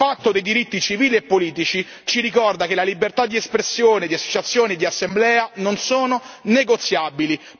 Il Patto dei diritti civili e politici ci ricorda che le libertà di espressione, di associazione e di assemblea non sono negoziabili.